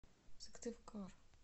сыктывкар